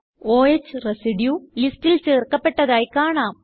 o ഹ് residue ലിസ്റ്റിൽ ചേർക്കപ്പെട്ടതായി കാണാം